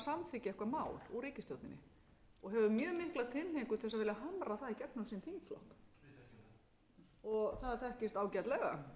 eitthvað mál úr ríkisstjórninni og hefur mjög mikla tilhneigingu til þess að vilja hamra það í gegnum þingið það þekkist ágætlega